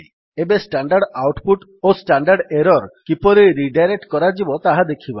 ଏବେ standard output ଓ standard error କିପରି ରିଡାଇରେକ୍ଟ୍ କରାଯିବ ତାହା ଦେଖିବା